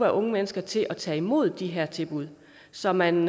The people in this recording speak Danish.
unge mennesker til at tage imod de her tilbud så man